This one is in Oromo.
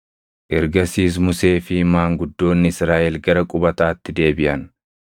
Ergasiis Musee fi maanguddoonni Israaʼel gara qubataatti deebiʼan.